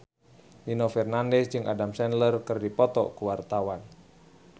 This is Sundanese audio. Nino Fernandez jeung Adam Sandler keur dipoto ku wartawan